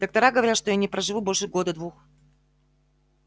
доктора говорят что я не проживу больше года-двух